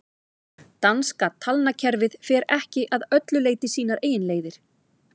danska talnakerfið fer ekki að öllu leyti sínar eigin leiðir